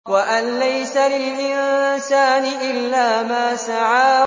وَأَن لَّيْسَ لِلْإِنسَانِ إِلَّا مَا سَعَىٰ